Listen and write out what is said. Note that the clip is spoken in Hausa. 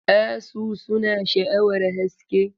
Asu suna sha'awar haske.